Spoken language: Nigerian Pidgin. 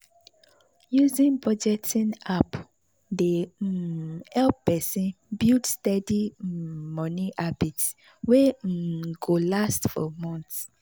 using budgeting app dey um help person build steady um money habit wey um go last for months.